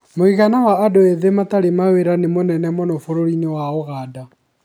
Mũigana Wa andũ ethĩ matarĩ mawĩra nĩ mũnene mũno bũrũri-inĩ Wa Ũganda.